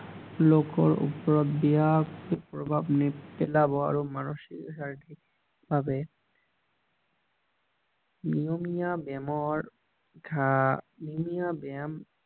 লোকৰ ওপৰত বেয়া প্ৰভাৱ নেপেলাব আৰু মানসিক শাৰীৰিক ভাৱে নিয়মীয়া ব্যায়ামৰ নিয়মীয়া ব্যায়াম